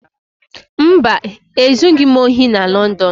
Mba, e zughị m ohị na Lọndọn